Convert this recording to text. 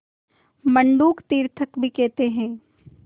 मंडूक तीर्थक भी कहते हैं